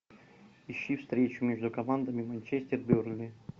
ищи встречу между командами манчестер бернли